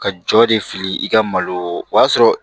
Ka jɔ de fili i ka malo o y'a sɔrɔ